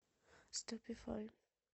ступифай